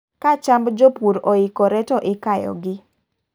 Ka chamb jo pur oikore ,to ikayo gi.